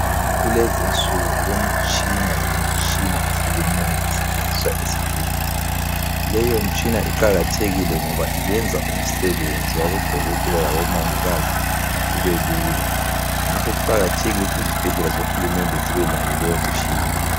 Kulezinsuku kulemitshina lemitshina ehlukeneyo esetshenziswa esibhedlela. Leyo mtshina iqakathekile ngoba iyenza umsebenzi wabodokotela labomongikazi ubelula, ngakho kuqakathekile ukuthi izibhedlela zohulumende zibe layo leyo mtshina.